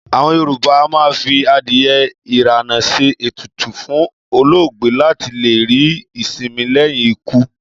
Àwọn Yorùbá a máa fi adìyẹ ìràná ṣe ètùtù fún olóògbé láti lè rí ìsinmi lẹ́yìn ikú